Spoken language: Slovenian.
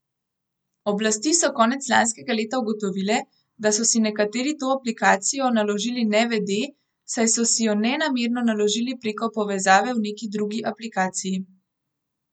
Oblasti so konec lanskega leta ugotovile, da so si nekateri to aplikacijo naložili nevede, saj so si jo nenamerno naložili preko povezave v neki drugi aplikaciji.